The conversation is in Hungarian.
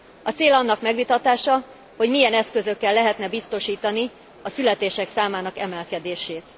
A cél annak megvitatása, hogy milyen eszközökkel lehetne biztosítani a születések számának emelkedését.